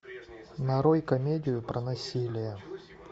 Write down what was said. нарой комедию про насилие